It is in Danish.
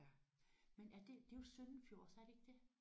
Men er det det er jo søndenfjords er det ikke det?